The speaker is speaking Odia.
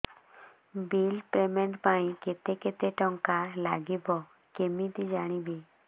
ବିଲ୍ ପେମେଣ୍ଟ ପାଇଁ କେତେ କେତେ ଟଙ୍କା ଲାଗିବ କେମିତି ଜାଣିବି